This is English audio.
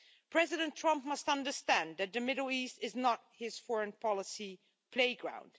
President Trump must understand that the Middle East is not his foreign policy playground.